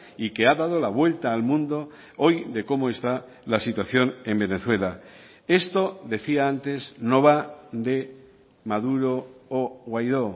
y que ha dado la vuelta al mundo hoy de cómo está la situación en venezuela esto decía antes no va de maduro o guaidó